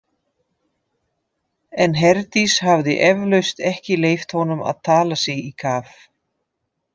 En Herdís hafði eflaust ekki leyft honum að tala sig í kaf.